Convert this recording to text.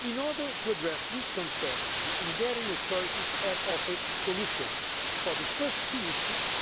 In order to address these concerns, the Hungarian authorities have offered solutions for the first two issues